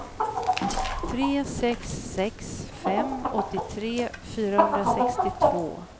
tre sex sex fem åttiotre fyrahundrasextiotvå